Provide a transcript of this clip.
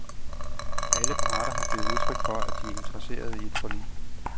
Alle parter har givet udtryk for, at de er interesserede i et forlig.